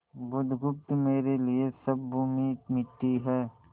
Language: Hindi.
बुधगुप्त मेरे लिए सब भूमि मिट्टी है